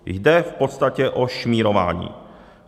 Jde v podstatě o šmírování.